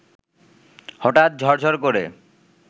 হঠাৎ ঝরঝর করে